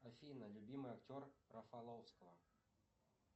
афина любимый актер рафаловского